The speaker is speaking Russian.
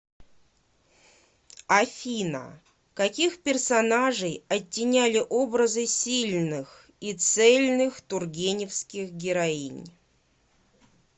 афина каких персонажей оттеняли образы сильных и цельных тургеневских героинь